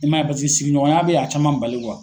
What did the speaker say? I man ye pasiki sigiɲɔgɔnya bɛ a caman bali